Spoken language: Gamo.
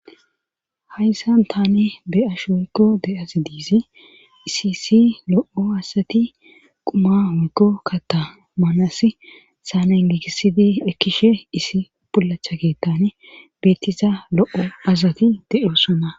hayssan tani be ash woykko de7as diizi isisi lo7o asati quma woykko katamanas saanangigisidi ekkishe issi pulacha geettane beettiza lo7o asati de7osona